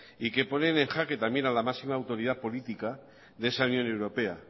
y que ponen en jaque también a la máxima autoridad política de esa unión europea